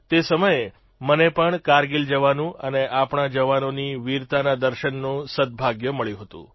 તે સમયે મને પણ કારગીલ જવાનું અને આપણા જવાનોની વીરતાના દર્શનનું સદભાગ્ય મળ્યું હતું